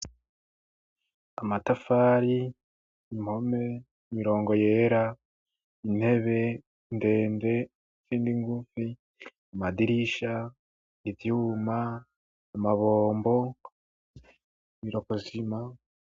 Amatafari ,impome ,mirongo yera ,intebe ndende izindi ngufi ,amadirisha ,ivyuma ,amabombo ,iroko sima.